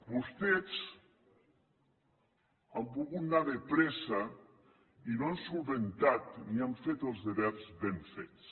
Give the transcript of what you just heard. vostès han volgut anar de pressa i no han solucionat ni han fet els deures ben fets